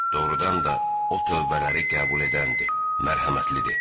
Doğrudan da, O tövbələri qəbul edəndir, mərhəmətlidir.